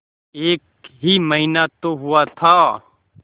एक ही महीना तो हुआ था